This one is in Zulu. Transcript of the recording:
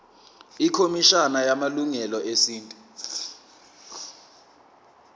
ikhomishana yamalungelo esintu